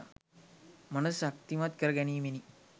මනස ශක්තිමත් කරගැනීමෙනි.